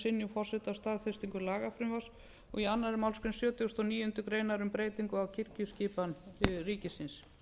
synjun forseta á staðfestingu lagafrumvarps og í annarri málsgrein sjötugustu og níundu grein um breytingu á kirkjuskipan ríkisins